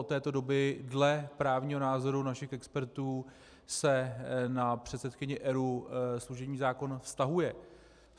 Od této doby dle právního názoru našich expertů se na předsedkyni ERÚ služební zákon vztahuje.